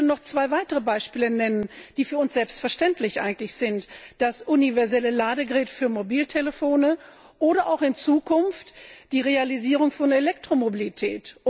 Ich möchte noch zwei weitere Beispiele nennen, die für uns selbstverständlich sind das universelle Ladegerät für Mobiltelefone oder auch in Zukunft die Realisierung von Elektromobilität.